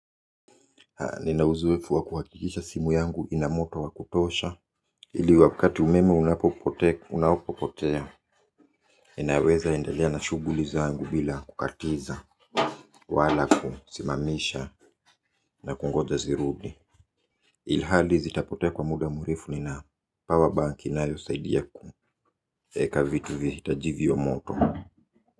Nina uzoefu wa kuhakikisha simu yangu ina moto wa kutosha ili wakati umeme unapopotea inaweza endelea na shughuli zangu bila kukatiza wala kusimamisha na kungoja zirudi ilhali zitapotea kwa muda mrefu nina power bank inayosaidia eka vitu vihitaji viwe moto.